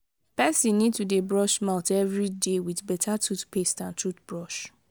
person need to dey brush mouth everyday with better toothpaste and toothbrush